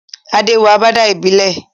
Adé wọ agbádá ìbílẹ̀